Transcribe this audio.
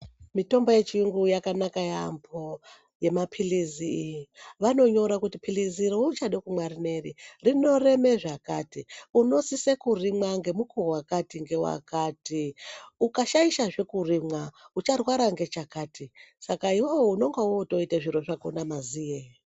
Mitombo yechiyungu yakanaka yeyambo, yemapilizi, vanonyora kuti pilizi reuchada kumwa rineri, rinoreme zvakati, unosise kurimwa ngemukuwo wakati ngewakati, ukashaisha zvee kurimwa ucharwara ngechakati saka iwewe unonga wotoita zviro zvakhona maziye.